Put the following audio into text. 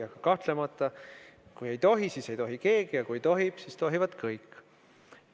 Aga kahtlemata, kui ei tohi, siis ei tohi keegi, ja kui tohib, siis tohivad kõik.